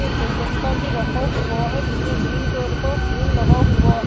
एक गुलदस्ता भी रखा हुआ है जिसमें ग्रीन कलर का फूल लगा हुआ है।